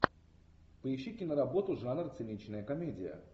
поищи киноработу жанр циничная комедия